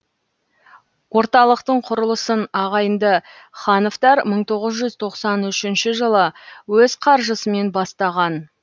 орталықтың құрылысын ағайынды хановтар мың тоғыз жүз тоқсан үшінші жылы өз қаржысымен бастаған